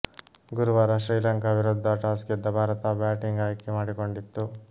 ಗುರುವಾರ ಶ್ರೀಲಂಕಾ ವಿರುದ್ಧ ಟಾಸ್ ಗೆದ್ದ ಭಾರತ ಬ್ಯಾಟಿಂಗ್ ಆಯ್ಕೆ ಮಾಡಿಕೊಂಡಿತ್ತು